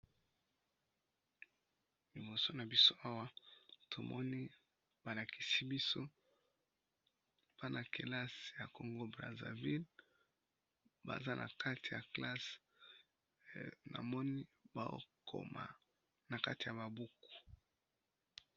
Liboso na biso awa tomoni balakisi biso bana kelase ya kongo brazzaville baza na kati ya klasse na moni ba okoma na kati ya babuku.